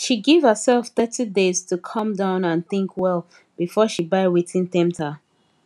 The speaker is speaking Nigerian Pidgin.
she give herself thirty days to calm down and think well before she buy wetin tempt her